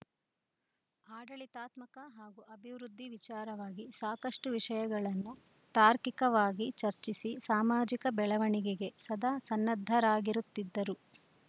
ಆಡಳಿತಾತ್ಮಕ ಹಾಗೂ ಅಭಿವೃದ್ಧಿ ವಿಚಾರವಾಗಿ ಸಾಕಷ್ಟುವಿಷಯಗಳನ್ನು ತಾರ್ಕಿಕವಾಗಿ ಚರ್ಚಿಸಿ ಸಾಮಾಜಿಕ ಬೆಳವಣಿಗೆಗೆ ಸದಾ ಸನ್ನದ್ಧರಾಗಿರುತ್ತಿದ್ದರು